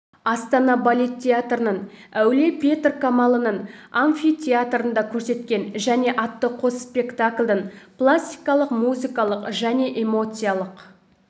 астана балет театрының әулие петр қамалының амфитеатрында көрсеткен және атты қос спектакльдің пластикалық музыкалық және эмоциялық